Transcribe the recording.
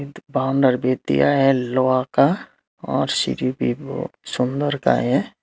बाउंडर भी दिया है लोहा का और सीढी भी बो सुंदर का है।